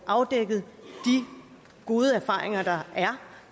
afdække de gode erfaringer der er